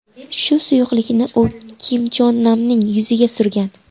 Shu suyuqlikni u Kim Chon Namning yuziga surgan.